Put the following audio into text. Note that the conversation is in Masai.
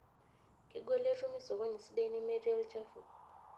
Kegol etumi sokoni sidai nemetii olchafu.